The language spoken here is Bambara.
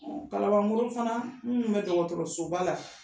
Kalabankoro fana, n kun bɛ dɔgɔtɔrɔso ba la.